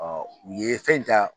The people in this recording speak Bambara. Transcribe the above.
u ye fɛn in ta